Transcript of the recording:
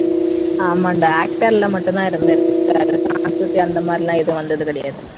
ஆமாண்டா actor ல மட்டும்தான் இருந்திருக்காரு songs அந்த மாதிரி எல்லாம் எதுவும் கிடையாது